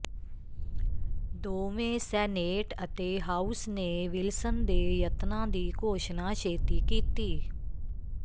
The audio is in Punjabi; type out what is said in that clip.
ਦੋਵੇਂ ਸੈਨੇਟ ਅਤੇ ਹਾਊਸ ਨੇ ਵਿਲਸਨ ਦੇ ਯਤਨਾਂ ਦੀ ਘੋਸ਼ਣਾ ਛੇਤੀ ਕੀਤੀ